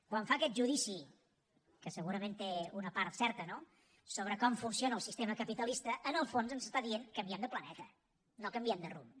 quan fa aquest judici que segurament té una part certa no sobre com funciona el sistema capitalista en el fons ens està dient canviem de planeta no canviem de rumb